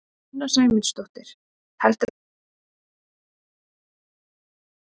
Sunna Sæmundsdóttir: Heldurðu að það myndu margir nýta þann kost?